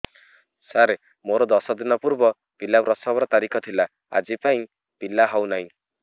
ସାର ମୋର ଦଶ ଦିନ ପୂର୍ବ ପିଲା ପ୍ରସଵ ର ତାରିଖ ଥିଲା ଆଜି ଯାଇଁ ପିଲା ହଉ ନାହିଁ